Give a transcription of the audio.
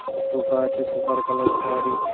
Sofa আছে সোফার colour খয়েরি।